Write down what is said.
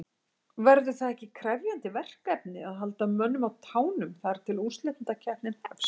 Verður það ekki krefjandi verkefni að halda mönnum á tánum þar til að úrslitakeppnin hefst?